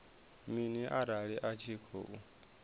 mini arali a tshi khou